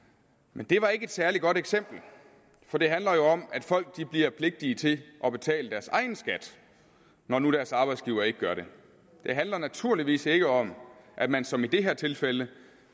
men det var ikke et særlig godt eksempel for det handler jo om at folk bliver pligtige til at betale deres egen skat når nu deres arbejdsgiver ikke gør det det handler naturligvis ikke om at man som i det her tilfælde